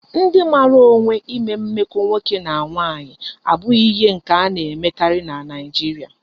Ndi mara onwe ime mmeko nwoke na nwanyi abughi ihe nke a na emekari na Nigeria